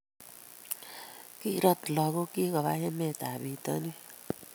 kiirot lagokchich koba emetab bitonin